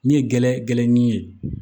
Ni ye gɛrɛ gɛn ni ye